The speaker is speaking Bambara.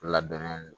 Labɛnnen don